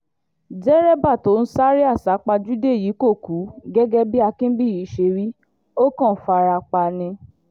derébà tó ń sáré àsápajúdé yìí kò kú gẹ́gẹ́ bí akínbíyí ṣe wí ó kàn fara pa ni